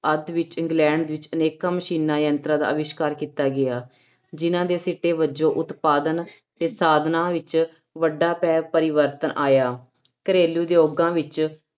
ਅੱਧ ਵਿੱਚ ਇੰਗਲੈਂਡ ਵਿੱਚ ਅਨੇਕਾਂ ਮਸ਼ੀਨਾਂ ਯੰਤਰਾਂ ਦਾ ਅਵਿਸ਼ਕਾਰ ਕੀਤਾ ਗਿਆ, ਜਿਹਨਾਂ ਦੇ ਸਿੱਟੇ ਵਜੋਂ ਉਤਪਾਦਨ ਤੇ ਸਾਧਨਾ ਵਿੱਚ ਵੱਡਾ ਪ ਪਰਿਵਰਤਨ ਆਇਆ ਘਰੇਲੂ ਉਦਯੋਗਾਂ ਵਿੱਚ